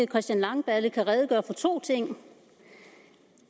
christian langballe kan redegøre for to ting